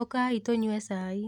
ũkai tũnyue cai.